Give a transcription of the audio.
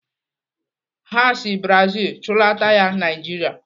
Ha si Brazil chụlata ya Naijiria.